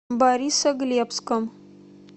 борисоглебском